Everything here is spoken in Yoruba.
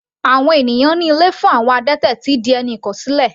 Àwọn ènìyàn ní ilé fún àwọn adẹ́tẹ̀ ti di ẹni ìkọ̀sílẹ̀.